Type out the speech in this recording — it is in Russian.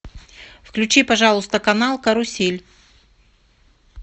включи пожалуйста канал карусель